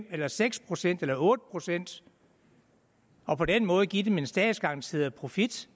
eller seks procent eller otte procent på den måde giver vi dem en statsgaranteret profit